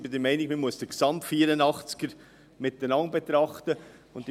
Ich bin der Meinung, dass wir den ganzen Artikel 84 gesamthaft betrachten sollten.